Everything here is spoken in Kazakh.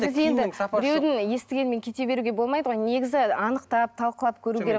сіз енді біреудің естігенімен кете беруіге болмайды ғой негізі анықтап талқылап көру керек